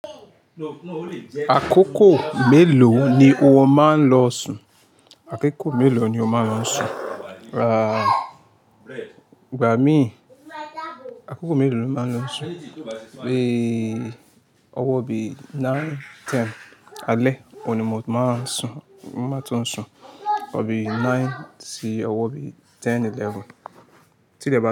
Àkókò mélòó ni o máa ń lọ sùn? Àkókò mélòó ni o máa ń lọ sùn? Ah-e, gbà mí. Àkókò mélòó lo máa ń lọ sùn? Pé ọwọ́ bí nine, ten. Alẹ́ òní mo máa sùn, ti n ba ti sùn. Bí nine sí ọwọ́ bí ten, eleven. Tí le bati.